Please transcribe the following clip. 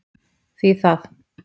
Því það?